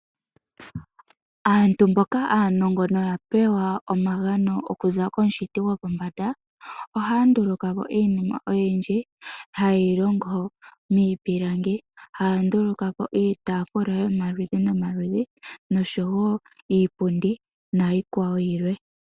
Aantu mboka aanongo, noya pewa omagano okuza komushiti gwopombanda, ohaya ndulukapo iinima oyindji, hayeyi longo miipilangi. Ohaya ndulukapo iitaafula yomaludhi nomaludhi, noshowo iipundi, nayikwawo yilwe.